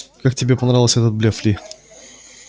как тебе понравился этот блеф ли